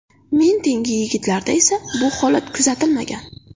Men tengi yigitlarda esa bu holat kuzatilmagan.